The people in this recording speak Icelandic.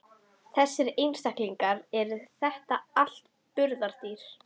Þessir einstaklingar, eru þetta allt burðardýr?